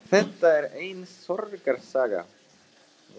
Þetta er ein sorgarsaga.